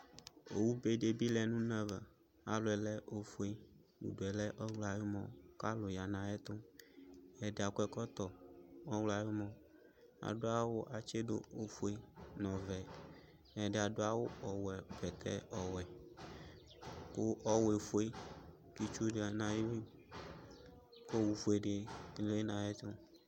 owʊ bedɩ ebɩ lɛ nʊ ʊne ava alɔ yɛ lɛ ofʊ ʊdʊ lɛ ɔwlɔ ayʊ mɔ kʊ alʊ ya nʊ ayʊ ɛtʊ ɛdɩ akɔ ɛkɔtɔ ɔwlɔ ayʊmɔ adʊ awʊ atsɩ dʊ ofʊe nʊ ɔvɛ ɛdɩ adʊ awʊ ɔwɛ bɛtɛ ɔwɛ kʊ ɔwʊ efʊe kʊ ɩtsʊ yanʊ ayʊ ɩwʊ kʊ owʊ fuedɩ lɛnʊ ayʊ ɛtʊ